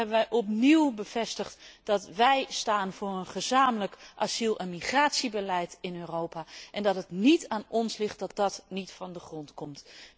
Hier hebben we opnieuw bevestigd dat we staan voor een gezamenlijk asiel en migratiebeleid in Europa, en dat het niet aan ons ligt dat dat niet van de grond komt.